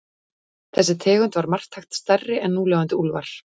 Þessi tegund var marktækt stærri en núlifandi úlfar.